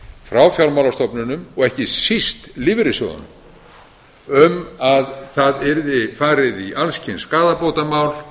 frá fjármálastofnunum og ekki síst lífeyrissjóðunum um að það yrði farið í alls kyns skaðabótamál